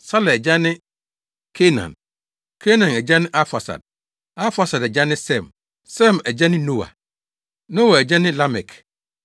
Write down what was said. Sala agya ne Kainan; Kainan agya ne Arfaksad; Arfaksad agya ne Sem; Sem agya ne Noa; Noa agya ne Lamek;